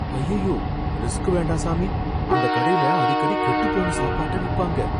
அய்யய்யோ, ரிஸ்க் வேண்டாம் சாமி, அந்தக் கடைல அடிக்கடி கெட்டுப்போன சாப்பாட்ட விப்பாங்க.